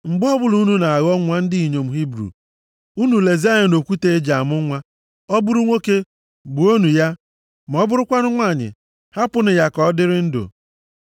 “Mgbe ọbụla unu na-aghọ nwa ndị inyom Hibru, unu lezie anya nʼokwute e ji amụ nwa, ọ bụrụ nwoke, gbuonụ ya, ma ọ bụrụkwanụ nwanyị, hapụnụ ya ka ọ dịrị ndụ.”